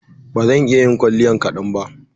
Ba zan iya yin kwalliyan kaɗan ba.